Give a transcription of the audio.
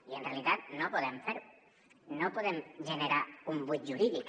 i en realitat no podem fer ho no podem generar un buit jurídic